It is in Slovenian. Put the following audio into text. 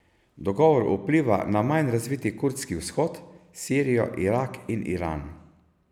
Dogovor vpliva na manj razviti kurdski vzhod, Sirijo, Irak in Iran.